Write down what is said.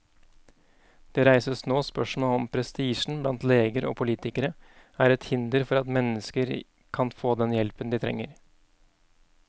Det reises nå spørsmål om prestisjen blant leger og politikere er et hinder for at mennesker kan få den hjelpen de trenger.